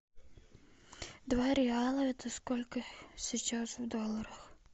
два реала это сколько сейчас в долларах